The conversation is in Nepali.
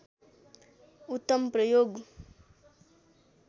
उत्तम प्रयोग